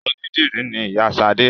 Onídìrí ni Ìyá Sadé